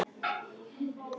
Hún rýkur upp.